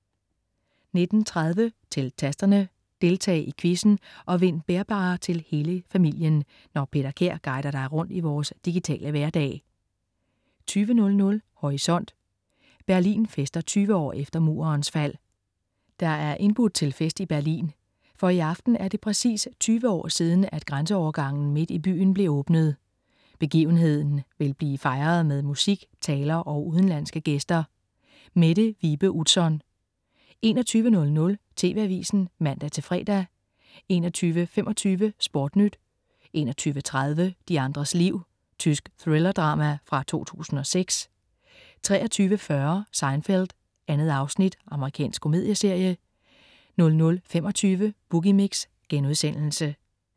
19.30 Til Tasterne. Deltag i quizzen og vind bærbare til hele familien, når Peter Kær guider dig rundt i vores digitale hverdag 20.00 Horisont: Berlin fester 20 år efter Murens fald. Der er indbudt til fest i Berlin. For i aften er det præcis 20 år siden, at grænseovergangen midt i byen blev åbnet. Begivenheden vil blive fejret med musik, taler og udenlandske gæster. Mette Vibe Utzon 21.00 TV Avisen (man-fre) 21.25 SportNyt 21.30 De andres liv. Tysk thrillerdrama fra 2006 23.40 Seinfeld. 2 afsnit. Amerikansk komedieserie 00.25 Boogie Mix*